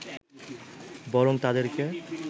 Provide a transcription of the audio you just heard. বরং তাদেরকে